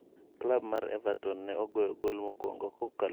Klab mar Evaton ne ogoyo goal mokwongo kokalo kuom Romelu Lukaku.